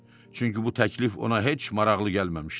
Çünki bu təklif ona heç maraqlı gəlməmişdi.